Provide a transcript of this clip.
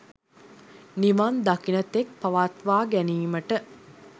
නිවන් දකින තෙක් පවත්වා ගැනීමට